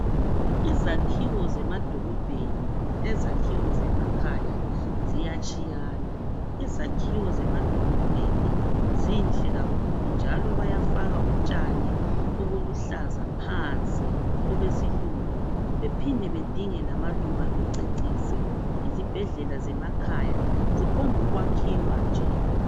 Izakhiwo zemadolobheni lezakhiwo zemakhaya ziyatshiyana ,izakhiwo zemadolobheni zinhle kakhulu njalo bayafaka utshani obuluhlaza phansi obesilungu bephide bedinge lamaluba bececise ,izibhedlela zemakhaya ziphombu kwakhiwa nje.